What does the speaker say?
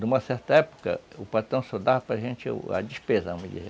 Numa certa época, o patrão só dava para gente a despesa.